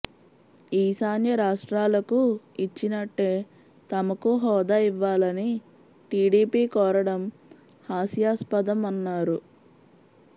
ఈశాన్య రాష్ట్రాలకు ఇచ్చినట్టే తమకు హోదా ఇవ్వాలని టీడీపీ కోరడం హాస్యాస్పదం అన్నారు